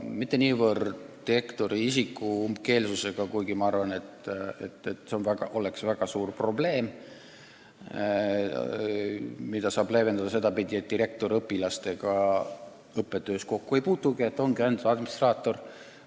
Ma ei peagi niivõrd silmas direktori umbkeelsust, mis on küll väga suur probleem, aga seda saab leevendada niimoodi, et direktor õpilastega õppetöös kokku ei puutu, ta ongi ainult administraator.